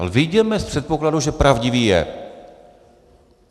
Ale vyjděme z předpokladu, že pravdivý je.